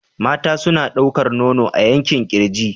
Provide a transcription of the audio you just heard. Mata suna ɗaukar nono a yankin kirji.